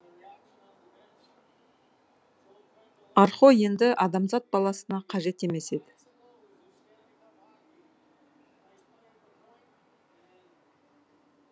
архо енді адамзат баласына қажет емес еді